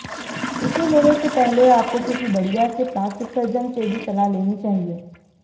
इसे लेने से पहले आपको किसी बढ़िया से प्लास्टिक सर्जन से भी सलाह लेनी चाहिए